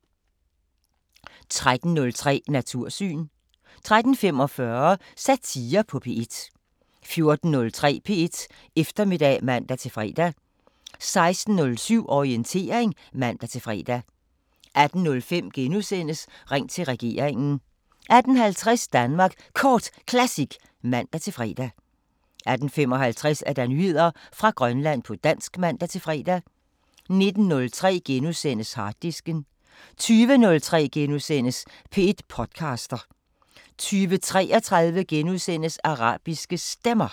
13:03: Natursyn 13:45: Satire på P1 14:03: P1 Eftermiddag (man-fre) 16:07: Orientering (man-fre) 18:05: Ring til regeringen * 18:50: Danmark Kort Classic (man-fre) 18:55: Nyheder fra Grønland på dansk (man-fre) 19:03: Harddisken * 20:03: P1 podcaster * 20:33: Arabiske Stemmer *